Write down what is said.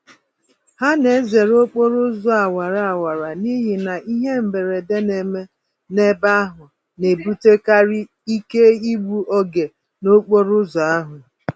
Ha na-ezere okporo ụzọ awara awara n'ihi na ihe mberede neme n'ebe ahụ na-ebutekarị ike igbu oge n'okporo ụzọ ahụ